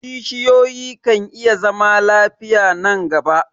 kishiyoyi kan iya zama lafiya nan gaba